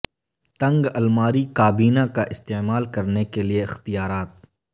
تنگ الماری کابینہ کا استعمال کرنے کے لئے اختیارات